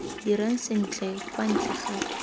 dirang sentle kwa ntle ga